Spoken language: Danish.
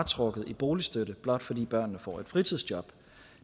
trukket i boligstøtte blot fordi børnene får et fritidsjob